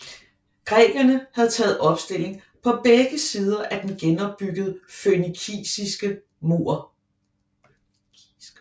Grækerne havde taget opstilling på begge sider af den genopbyggede fønikiske mur